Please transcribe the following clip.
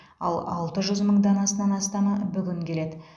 ал алты жүз мың данасынан астамы бүгін келеді